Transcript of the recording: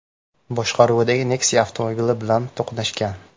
boshqaruvidagi Nexia avtomobili bilan to‘qnashgan.